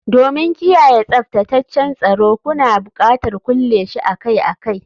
Domin kiyaye tsaftataccen tsoro, kuna buƙatar kulle shi akai-akai